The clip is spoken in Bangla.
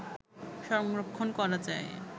সংরক্ষণ করা যায়